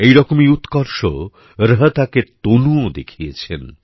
একইরকম উৎকর্ষ রোহতকের তনুও দেখিয়েছেন